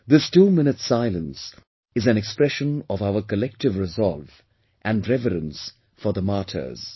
This 2 minutes silence is an expression of our collective resolve and reverence for the martyrs